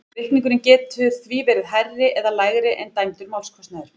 Reikningurinn getur því verið hærri eða lægri en dæmdur málskostnaður.